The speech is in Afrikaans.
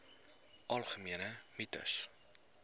algemene mites